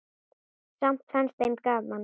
Samt fannst þeim gaman.